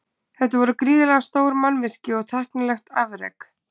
Þetta voru gríðarlega stór mannvirki og tæknilegt afrek.